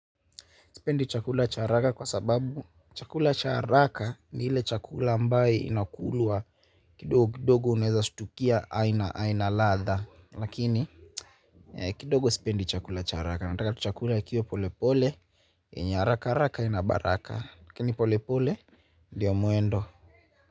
Sipendi chakula cha haraka kwa sababu chakula cha haraka ni ile chakula ambaye inakulwa kidogo kidogo unaeza stukia aina aina ladha. Lakini kidogo sipendi chakula cha haraka. Nataka tu chakula kiwe pole pole, haraka haraka aina baraka. Lakini pole pole, ndio mwendo.